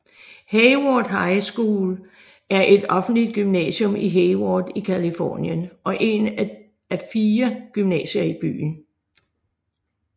Hayward High School er et offentligt gymnasium i Hayward i Californien og en af fire gymnasier i byen